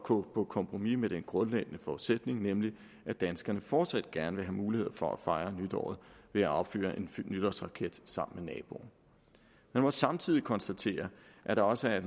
gå på kompromis med den grundlæggende forudsætning nemlig at danskerne fortsat gerne vil have mulighed for at fejre nytåret ved at affyre en nytårsraket sammen med naboen lad mig samtidig konstatere at der også i